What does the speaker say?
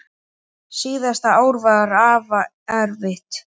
Síðasta ár var afa erfitt.